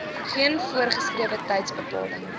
geen voorgeskrewe tydsbepaling